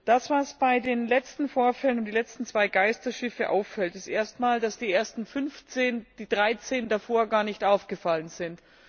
Das, was bei den letzten Vorfällen um die letzten zwei Geisterschiffe auffällt, ist erst einmal, dass die ersten, die dreizehn davor gar nicht aufgefallen sind.